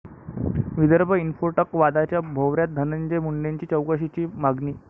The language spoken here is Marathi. विदर्भ इन्फोटेक' वादाच्या भोवऱ्यात, धनंजय मुंडेंची चौकशीची मागणी